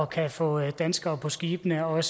kan få danskere på skibene og